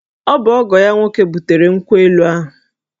Ọ bụ ọgọ ya nwoke butere nkwụ elu ahụ